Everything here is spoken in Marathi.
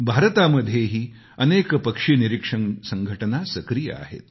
भारतामध्येही अनेक पक्षी निरीक्षण संघटना सक्रिय आहेत